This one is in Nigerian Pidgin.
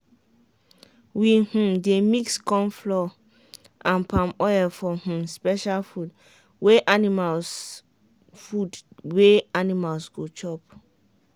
we um dey mix corn flour and palm oil for um special food wey animals food wey animals go chop.